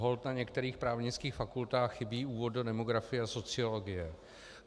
Holt na některých právnických fakultách chybí úvod do demografie a sociologie.